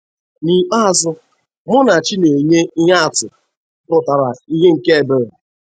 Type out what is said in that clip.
N'ikpeazụ, Munachi na-enye ihe atụ pụtara ìhè nke ebere.